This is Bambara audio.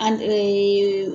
An